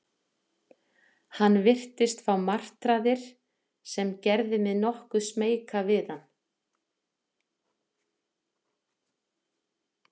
Hann virtist fá martraðir, sem gerði mig nokkuð smeyka við hann.